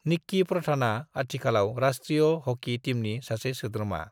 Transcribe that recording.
निक्की प्रधानआ आथिखालाव राष्ट्रीय हॉकी टीमनि सासे सोद्रोमा।